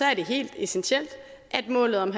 er det helt essentielt at målet om